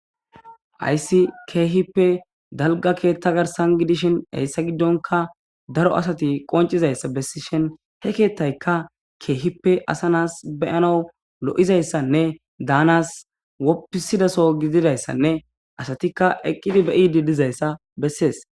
Hayssi keehippe dalga keeththa garsan gidishin hayssa giddonka daro asati qoncizayssa bessishin he keettayka keehippe asa nas beyana lo7izayssanne daanas woppisidaso gididayssanne asatikka eqqidi beyidi dizayssa bessees..